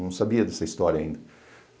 Não sabia dessa história ainda.